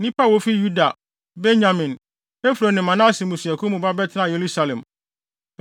Nnipa a wofi Yuda, Benyamin, Efraim ne Manase mmusuakuw mu ba bɛtenaa Yerusalem.